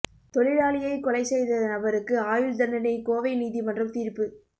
தொழிலாளியைக் கொலை செய்த நபருக்கு ஆயுள் தண்டனை கோவை நீதிமன்றம் தீா்ப்பு